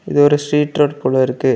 இது ஒரு street road குள்ள இருக்கு.